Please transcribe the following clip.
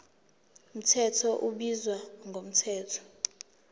mthetho ubizwa ngomthetho